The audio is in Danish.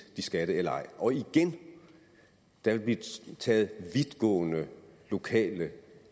de skal det eller ej og igen der vil blive taget vidtgående lokale